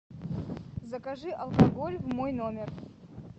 закажи алкоголь в мой номер